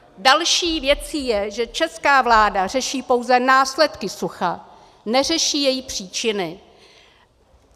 Další věcí je, že česká vláda řeší pouze následky sucha, neřeší její příčiny.